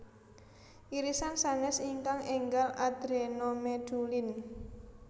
Irisan sanes ingkang enggal adrenomedulin